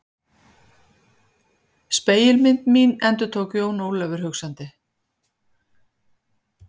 Spegilmynd mín endurtók Jón Ólafur hugsandi.